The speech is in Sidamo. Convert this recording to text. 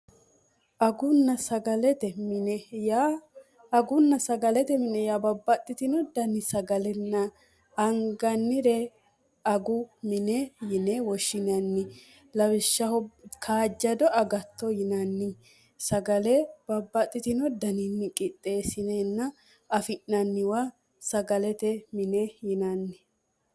agunna sagalete mine ya babbaxxitino danni sagalenna angannire agu mine yine woshshinanni lawishshaho kaajjado agatto yinanni sagale babbaxxitino dani miqixxeessineenna afi'nanniwa sagalete mine yinanni